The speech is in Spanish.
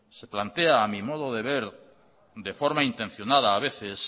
se plantea a mi modo de ver de forma intencionada a veces